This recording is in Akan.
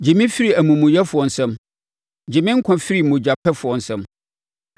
Gye me firi amumuyɛfoɔ nsam. Gye me nkwa firi mogyapɛfoɔ nsam.